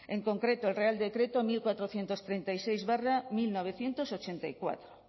en concreto el real decreto unolaurehun eta hogeita hamasei barra mila bederatziehun eta laurogeita lau